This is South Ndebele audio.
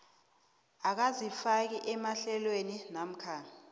akazifaki emahlelweni namkha